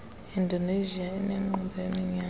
indonesia inenkqubo yaminyaka